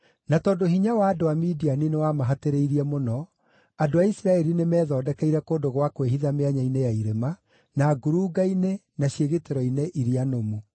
Na tondũ hinya wa andũ a Midiani nĩwamahatĩrĩirie mũno, andũ a Isiraeli nĩmethondekeire kũndũ gwa kwĩhitha mĩanya-inĩ ya irĩma, na ngurunga-inĩ, na ciĩgitĩro-inĩ iria nũmu.